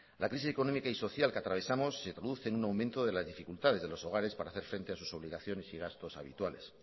la crisis económica y social que atravesamos se produce en un aumento de las dificultades de los hogares para hacer frente a sus obligaciones y gastos habituales